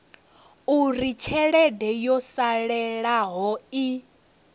uri tshelede yo salelaho i